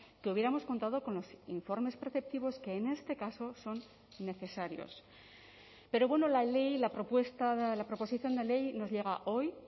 que hubiéramos contado con los informes preceptivos que en este caso son necesarios pero bueno la ley la propuesta la proposición de ley nos llega hoy